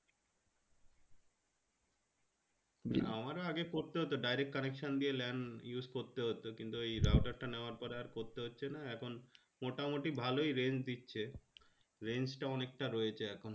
আমারও আগে করতে হতো direct connection দিয়ে lane use করতে হতো কিন্তু ওই router তা নেওয়ার পরে আর করতে হচ্ছেনা এখন মোটামোটি ভালোই range দিচ্ছে range টাও অনেকটা রয়েছে এখন